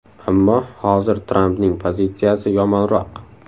Ammo hozir Trampning pozitsiyasi yomonroq.